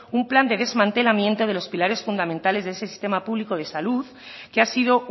un plan de desmantelamiento de los pilares fundamentales de ese sistema público de salud que ha sido